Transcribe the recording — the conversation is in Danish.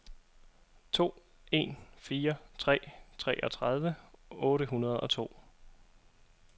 to en fire tre treogtredive otte hundrede og to